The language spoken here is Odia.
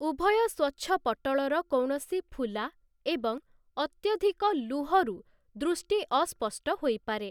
ଉଭୟ ସ୍ୱଚ୍ଛପଟ୍ଟଳର କୌଣସି ଫୁଲା ଏବଂ ଅତ୍ୟଧିକ ଲୁହରୁ ଦୃଷ୍ଟି ଅସ୍ପଷ୍ଟ ହୋଇପାରେ ।